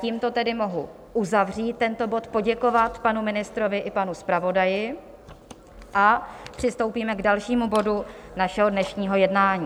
Tímto tedy mohu uzavřít tento bod, poděkovat panu ministrovi i panu zpravodaji a přistoupíme k dalšímu bodu našeho dnešního jednání.